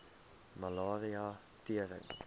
malaria tering